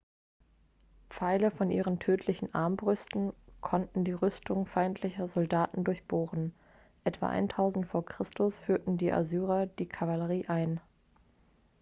pfeile von ihren tödlichen armbrüsten konnten die rüstung feindlicher soldaten durchbohren etwa 1000 v. chr. führten die assyrer die kavallerie ein